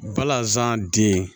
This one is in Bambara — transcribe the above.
Balazan den